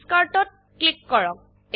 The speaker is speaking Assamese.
Discardত ক্লিক কৰক